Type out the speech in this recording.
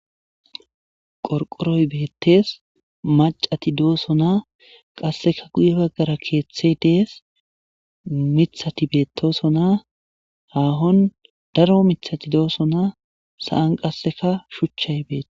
Qorqoroy beettees macati dooso na qasseka guye baggara keeththey dees mithati beetosona haahon daro mithati dooso naa sa7an qasseka shuchchay beetes.